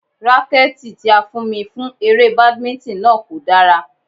Rákẹ́tì tí a fún mi fún eré Badminton náà kò dára.